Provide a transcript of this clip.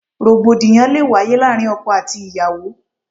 Rògbòdìyàn lé wáyé láàárín ọkọ àti ìyàwó.